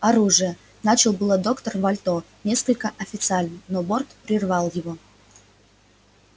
оружие начал было доктор вальто несколько официально но борт прервал его